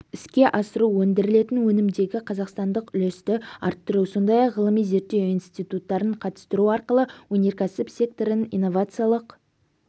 іске асыру өндірілетін өнімдегі қазақстандық үлесті арттыру сондай-ақ ғылыми-зерттеу институттарын қатыстыру арқылы өнеркәсіп секторын инновациялық